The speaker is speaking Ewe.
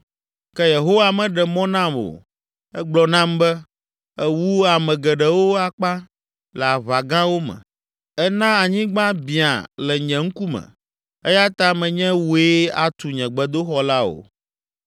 ke Yehowa meɖe mɔ nam o. Egblɔ nam be, ‘Èwu ame geɖewo akpa le aʋa gãwo me. Èna anyigba biã le nye ŋkume eya ta menye wòe atu nye gbedoxɔ la o.